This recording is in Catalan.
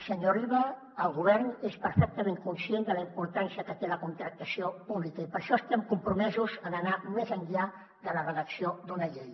senyor riba el govern és perfectament conscient de la importància que té la contractació pública i per això estem compromesos en anar més enllà de la redacció d’una llei